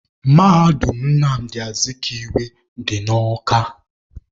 Mahadum Nnamdị Azikiwe dị na Awka